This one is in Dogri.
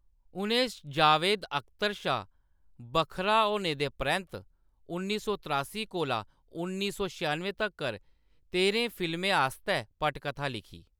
उʼनें जावेद अख्तर शा बक्खरा होने दे परैंत्त उन्नी सौ त्रासी कोला उन्नी सौ छेआनुएं तक्कर तेह्‌रें फिल्में आस्तै पटकथा लिखी।